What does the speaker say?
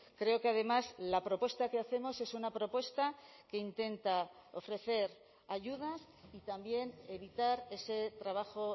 creo que además la propuesta que hacemos es una propuesta que intenta ofrecer ayudas y también evitar ese trabajo